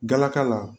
Galaka la